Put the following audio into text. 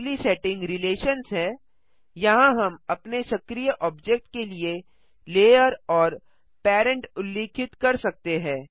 अगली setting relations है यहाँ हम अपने सक्रीय ऑब्जेक्ट के लिए लेयर और पेरेंट उल्लिखित कर सकते हैं